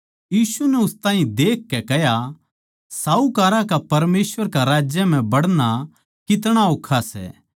यीशु नै उस ताहीं देखकै कह्या साहूकारां का परमेसवर कै राज्य म्ह बड़ना कितना ओक्खा सै